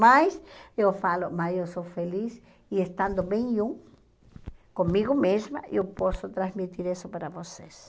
Mas eu falo, mas eu sou feliz e estando bem eu, comigo mesma, eu posso transmitir isso para vocês.